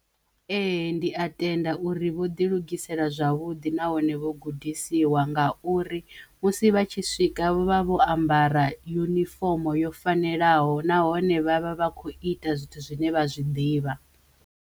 Ee, ndi a tenda uri vho ḓi lugisela zwavhuḓi nahone vho gudisiwa ngauri musi vha tshi swika vho vha vho ambara yunifomo yo fanelaho nahone vhavha vha kho ita zwithu zwine vha zwi ḓivha.